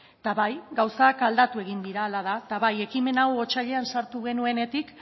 eta bai gauzak aldatu egin dira hala da eta bai ekimen hau otsailean sartu genuenetik